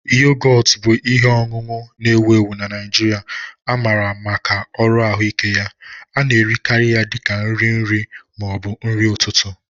Yogọt bụ ihe ọṅụṅụ na-ewu ewu na Naijiria nke amara maka uru ahụike ya. A na-erikarị ya dị ka nri nri ma ọ bụ nri ụtụtụ